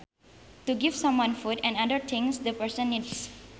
To give someone food and other things the person needs